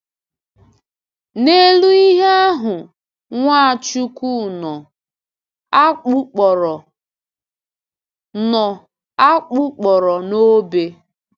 N’elu ihe ahụ, Nwachukwu nọ, a kpụkpọrọ nọ, a kpụkpọrọ n’obe.